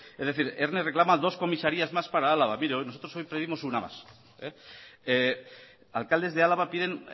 es decir erne reclama dos comisarías más para álava mire nosotros hoy pedimos una más alcaldes de álava piden